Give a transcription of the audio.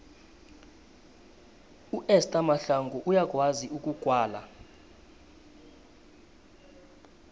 uester mahlangu uyakwazi ukugwala